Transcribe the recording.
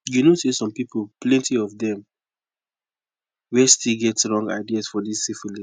you know say some people plenty of them where still get wrong ideas for this syphilis